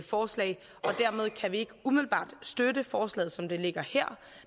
forslag dermed kan vi ikke umiddelbart støtte forslaget som det ligger her